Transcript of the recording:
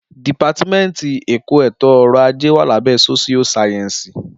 Dípàtímẹtì ẹkọ ẹto ọrọ àjé wà làbẹ sósìó sàyẹnsí.